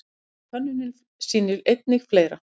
En könnunin sýnir einnig fleira.